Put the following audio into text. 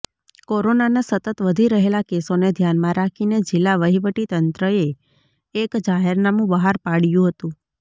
કોરોનાના સતત વધી રહેલા કેસોને ધ્યાનમાં રાખીને જિલ્લા વહીવટીતંત્રએ એક જાહેરનામુ બહાર પાડ્યું હતું